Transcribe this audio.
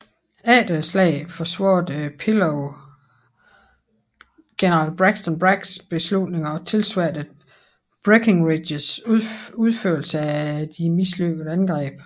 Efter slaget forsvarede Pillow general Braxton Braggs beslutninger og tilsværtede Breckinridges udførelse af det mislykkede angreb